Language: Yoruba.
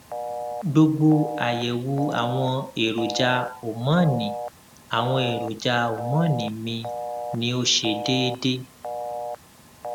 gbogbo àyẹwò àwọn èròjà homọnì àwọn èròjà homọnì mi ní ó ṣe déédé